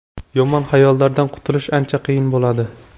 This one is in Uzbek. Yomon xayollardan qutulish ancha qiyin bo‘ladi.